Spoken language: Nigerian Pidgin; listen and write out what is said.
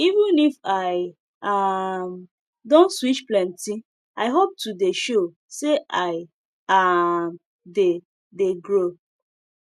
even if i um don switch plenty i hope to dey show say i um dey dey grow